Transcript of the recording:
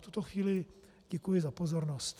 V tuto chvíli děkuji za pozornost.